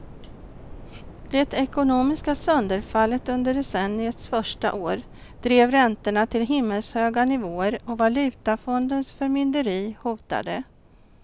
Det ekonomiska sönderfallet under decenniets första år drev räntorna till himmelshöga nivåer och valutafondens förmynderi hotade.